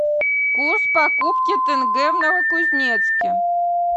курс покупки тенге в новокузнецке